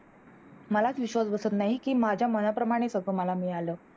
मलाच विश्वास बसत नाही की माझ्या मनाप्रमाणे कस मला मिळाल